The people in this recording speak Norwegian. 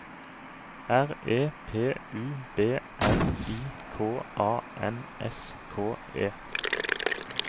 R E P U B L I K A N S K E